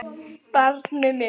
Barnið mitt.